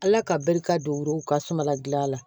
Ala ka barika don o yɔrɔw ka suma gilan la